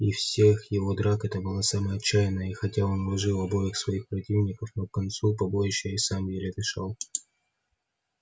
из всех его драк это была самая отчаянная и хотя он уложил обоих своих противников но к концу побоища и сам еле дышал